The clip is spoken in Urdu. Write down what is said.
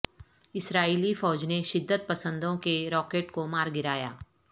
اسرائیلی فوج نے شدت پسندوں کے راکٹ کومار گرایا